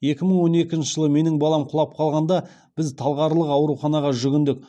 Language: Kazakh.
екі мың он екінші жылы менің балам құлап қалғанда біз талғарлық ауруханаға жүгіндік